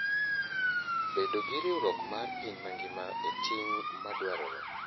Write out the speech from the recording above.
Bedo gi riwruok mar piny mangima en ting ' madwarore.